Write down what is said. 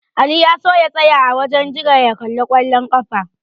Ali ya so ya tsaya a wajen jira ya kalli ƙwallon ƙafa.